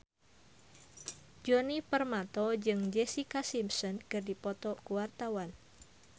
Djoni Permato jeung Jessica Simpson keur dipoto ku wartawan